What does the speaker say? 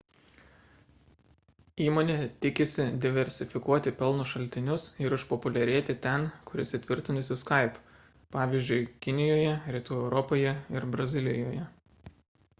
įmonė tikisi diversifikuoti pelno šaltinius ir išpopuliarėti ten kur įsitvirtinusi skype pavyzdžiui kinijoje rytų europoje ir brazilijoje